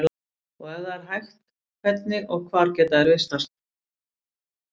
Og ef það er hægt, hvernig og hvar geta þær vistast?